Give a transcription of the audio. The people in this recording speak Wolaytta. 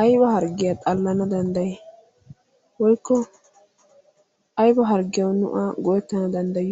ayba harggiya xallana danddayii? Woykko ayba harggiyawu nu a go"ettana danddayiyo?